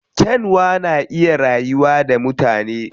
Kyanwa na iya rayuwa da mutane.